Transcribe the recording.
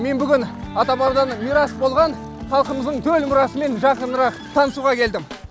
мен бүгін ата бабадан мирас болған халқымыздың төл мұрасымен жақынырақ танысуға келдім